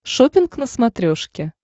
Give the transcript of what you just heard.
шоппинг на смотрешке